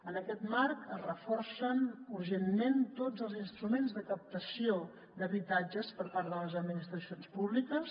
en aquest marc es reforcen urgentment tots els instruments de captació d’habitatges per part de les administracions públiques